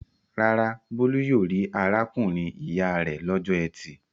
Rárá, Bólú yóò rí arákùnrin-ìyá rẹ̀ lọ́jọ́ ẹtì.